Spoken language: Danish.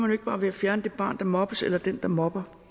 jo ikke bare ved at fjerne det barn der mobbes eller den der mobber